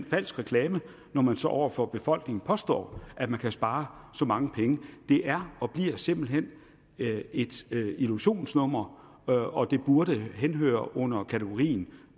falsk reklame når man så over for befolkningen påstår at man kan spare så mange penge det er og bliver simpelt hen et illusionsnummer og og det burde henhøre under kategorien